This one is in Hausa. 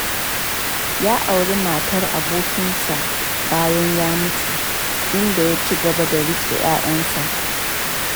Ya auri matar abokinsa bayan ya mutu, inda ya ci gaba da riƙe 'ya'yansa.